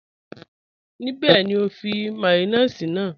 Níbẹ̀ ni o fi màyọ̀nèṣì náà?